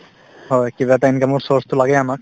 হয়, কিবা এটা income ৰ source তো লাগেই আমাক